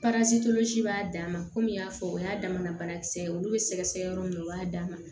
b'a dan ma komi y'a fɔ o y'a damana banakisɛ ye olu be sɛgɛsɛgɛ yɔrɔ min na u b'a d'a ma